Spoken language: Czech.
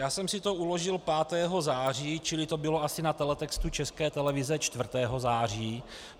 Já jsem si to uložil 5. září, čili to bylo asi na teletextu České televize 4. září.